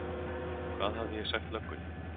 Hvað hafði ég sagt löggunni?